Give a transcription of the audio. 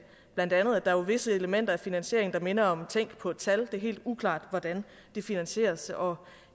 bla at der jo er visse elementer af finansieringen der minder om tænk på et tal det er helt uklart hvordan det finansieres og